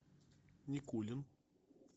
никулин